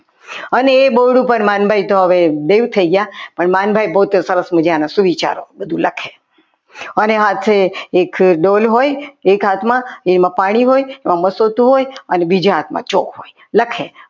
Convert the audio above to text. અને એ બહુ રૂપ તો માનભાઈ હવે દેવ થઈ ગયા પણ માનભાઈ પોતે બહુ સરસ મજાના સુવિચારો બધું લખે અને સાથે એક ડોલ હોય એક હાથમાં એમાં પાણી હોય હોતું હોય અને બીજા હાથમાં ચોક હોય લખે.